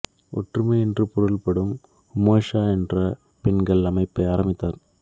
ஒற்றுமை என்று பொருள்படும் உமோஜா என்ற பெண்கள் அமைப்பை ஆரம்பித்தார்